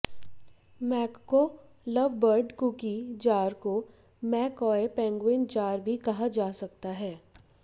मैकको lovebird cookie jar को McCoy penguin jar भी कहा जा सकता है